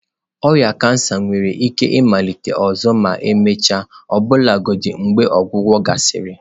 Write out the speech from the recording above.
Ọrịa kansa nwere ike ịmalite ọzọ ma emechaa ọbụlagodi mgbe ọgwụgwọ gasịrị.